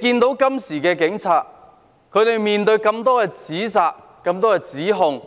大家看到，警察今天面對這麼多指責和指控，